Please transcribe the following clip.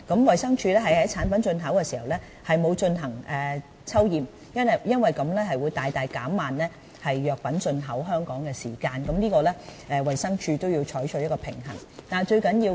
衞生署在產品進口時並沒有進行抽驗，因為這樣會大大減慢藥品進口香港的時間，衞生署是須就這方面取得平衡的。